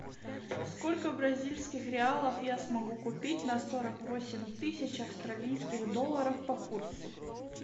сколько бразильских реалов я смогу купить на сорок восемь тысяч австралийских долларов по курсу